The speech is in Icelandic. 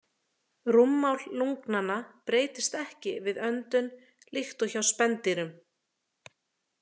Rúmmál lungnanna breytist ekki við öndun líkt og hjá spendýrum.